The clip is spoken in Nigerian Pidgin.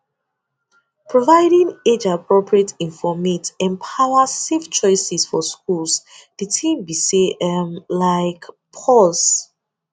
providing age appropriate informate empowers safe choices for schools de tin be say um laik pause